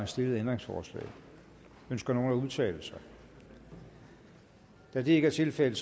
stillede ændringsforslag ønsker nogen at udtale sig da det ikke er tilfældet